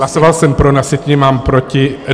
Hlasoval jsem pro, na sjetině mám proti.